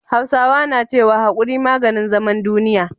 Hausawa na cewa "Hakuri maganin zaman duniya"